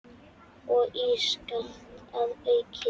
Og ískalt að auki.